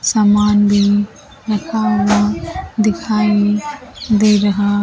सामान भी रखा हुआ दिखाई दे रहा है।